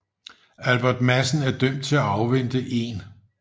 Albert Madsen er dømt til at afvente 1